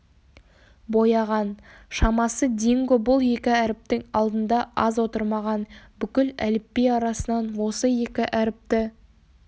бояған шамасы динго бұл екі әріптің алдында аз отырмаған бүкіл әліпби арасынан осы екі әріпті